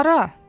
Hara?